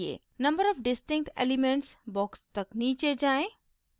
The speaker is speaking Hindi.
number of distinct elements box तक नीचे जाएँ